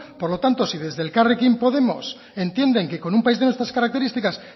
por lo tanto si desde elkarrekin podemos entienden que con un país de nuestras características